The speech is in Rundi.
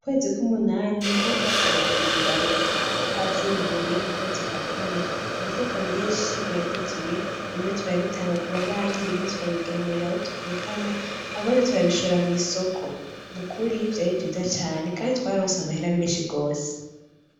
Ukwzi kw'umunani niho twateragira ibiraya, twavyimbuye mu kwezi kw'akane, imifuko vyinshi yaruzuye bimwe turabitanga kubabanyi, ibindi turabigemurira abo tuvukana, ibindi turabishora mw'isoko, nukuri vyira vyiza cane kandi twararonse amahera menshi gose.